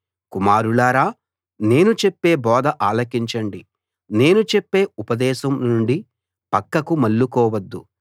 కుమారులారా నేను చెప్పే బోధ ఆలకించండి నేను చెప్పే ఉపదేశం నుండి పక్కకు మళ్ళుకోవద్దు